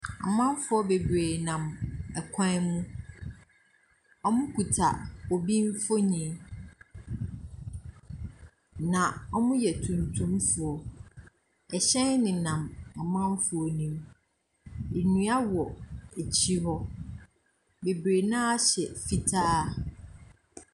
Amanfoɔ bebree nam kwan mu. Wɔkuta obi mfonin. Na wɔyɛ tuntumfoɔ ɛhyɛn nenam amanfoɔ no mu. Nnua wɔ akyire hɔ. Bebree no ara hyɛ fitaa.